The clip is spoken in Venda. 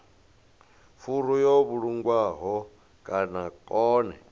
furu yo vhulungwaho vha kone